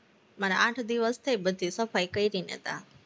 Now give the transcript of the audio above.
મારે આઠ દિવસ થઇ, બધી સફાઈ કરી ને ત્યાં